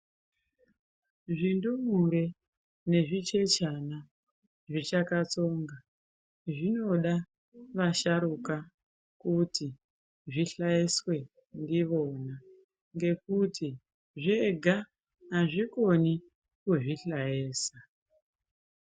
Zvindumure nezvichechana zvichakatsonga zvinoda vasharuka kuti zvihlaiswe ndivona ngekuti zvega hazvikoni kuzvihlayesa.